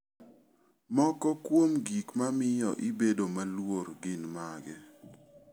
Moko kuom gik mamiyo ibedo maluor gin mage?